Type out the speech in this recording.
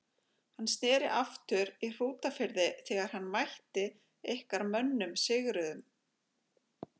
Hann sneri aftur í Hrútafirði þegar hann mætti ykkar mönnum sigruðum.